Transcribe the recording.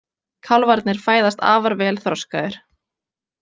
Kálfarnir fæðast afar vel þroskaðir.